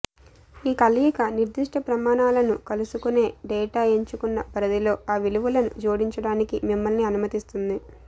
ఈ కలయిక నిర్దిష్ట ప్రమాణాలను కలుసుకునే డేటా ఎంచుకున్న పరిధిలో ఆ విలువలను జోడించడానికి మిమ్మల్ని అనుమతిస్తుంది